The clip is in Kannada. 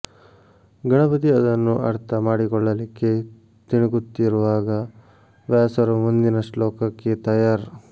ಗಣಪತಿ ಅದನ್ನು ಅರ್ಥ ಮಾಡಿಕೊಳ್ಳಲಿಕ್ಕೆ ತಿಣುಕುತ್ತಿರುವಾಗ ವ್ಯಾಸರು ಮುಂದಿನ ಶ್ಲೋಕಕ್ಕೆ ತಯಾರ್